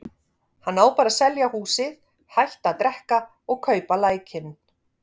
Hann á bara að selja húsið, hætta að drekka og kaupa lækninn.